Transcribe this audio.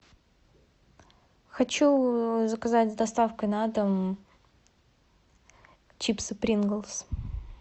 хочу заказать с доставкой на дом чипсы принглс